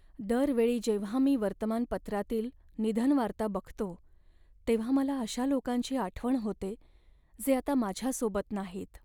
दर वेळी जेव्हा मी वर्तमानपत्रातील निधनवार्ता बघतो तेव्हा मला अशा लोकांची आठवण होते, जे आता माझ्यासोबत नाहीत.